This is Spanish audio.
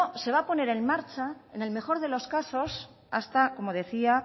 se va a poner en marcha en el mejor de los casos hasta como decía